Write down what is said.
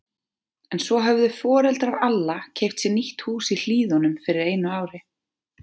En svo höfðu foreldrar Alla keypt sér nýtt hús í Hlíðunum fyrir einu ári.